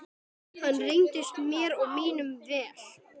Hann reyndist mér og mínum vel.